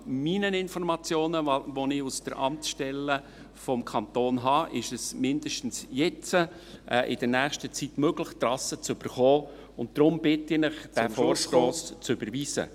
Nach meinen Informationen, die ich aus den Amtsstellen des Kantons habe, ist es zumindest jetzt in der nächsten Zeit möglich, Trassen zu erhalten, und darum bitte ich Sie, den Vorstoss zu überweisen.